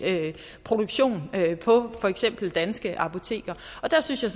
produktion på for eksempel danske apoteker der synes jeg